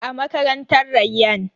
A makarantar Rayyan